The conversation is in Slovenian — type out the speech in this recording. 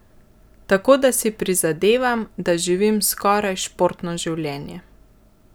Tako da si prizadevam, da živim skoraj športno življenje.